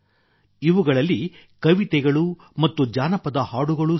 ಇವುಗಳಲ್ಲಿ ಕವಿತೆಗಳು ಮತ್ತು ಜಾನಪದ ಹಾಡುಗಳೂ ಸೇರಿವೆ